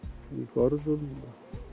görðum